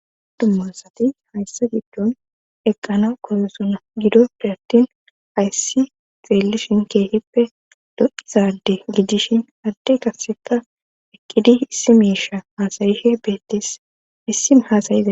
Tummasati hayssa giddon eqqana koresuna gidoppe attin hayssi xeellishin keehippe do7izade gidishin adde karseta ekkidi issi miisha haasayihe beettis issi haasayiza.